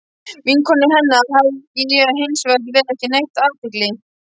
Vinkonum hennar hafði ég hins vegar ekki veitt athygli.